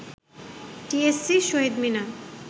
TSC, Shaheed Minar